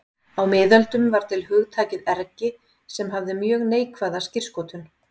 Á miðöldum var til hugtakið ergi sem hafði mjög neikvæða skírskotun.